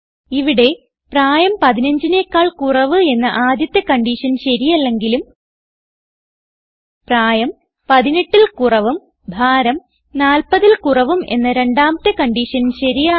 ഇവിടെ പ്രായം 15നെക്കാൾ കുറവ് എന്ന ആദ്യത്തെ കൺഡിഷൻ ശരിയല്ലെങ്കിലും പ്രായം 18ൽ കുറവും ഭാരം 40ൽ കുറവും എന്ന രണ്ടാമത്തെ കൺഡിഷൻ ശരിയാണ്